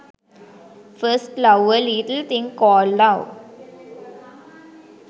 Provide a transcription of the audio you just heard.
first love a little thing called love